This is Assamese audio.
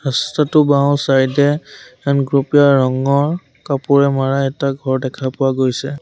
ৰাস্তাটো ৰ বাওঁচাইদে গুলপীয়া ৰঙৰ কাপোৰে মৰা এটা ঘৰ দেখা পোৱা গৈছে।